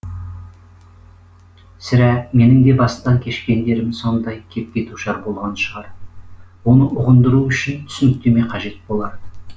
сірә менің де бастан кешкендерім сондай кепке душар болған шығар оны ұғындыру үшін түсініктеме қажет болар